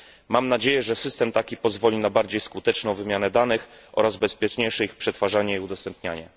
Mam nadzieję, że system taki pozwoli na bardziej skuteczną wymianę danych oraz ich bezpieczniejsze przetwarzanie i udostępnianie.